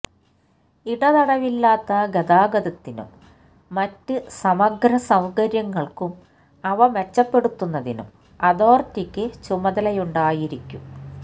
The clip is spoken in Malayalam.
ഇടതടവില്ലാത്ത ഗതാഗതത്തിനും മറ്റ് സമഗ്ര സൌകര്യങ്ങൾക്കും അവ മെച്ചപ്പെടുത്തുന്നതിനും അതോറിറ്റിയ്ക്ക് ചുമതലയുണ്ടായിരിക്കും